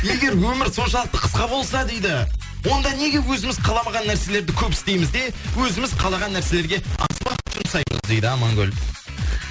егер өмір соншалықты қысқа болса дейді онда неге өзіміз қаламаған нәрселерді көп істейміз де өзіміз қалаған нәрселерге аз уақыт жұмсаймыз дейді амангүл